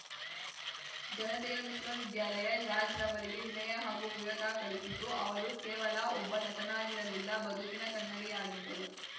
ಜನತೆಯ ವಿಶ್ವವಿದ್ಯಾಲಯ ರಾಜ್‌ರವರಿಗೆ ವಿನಯ ಹಾಗೂ ವಿವೇಕ ಕಲಿಸಿತು ಅವರು ಕೇವಲ ಒಬ್ಬ ನಟನಾಗಿರಲಿಲ್ಲ ಬದುಕಿನ ಕನ್ನಡಿಯಾಗಿದ್ದರು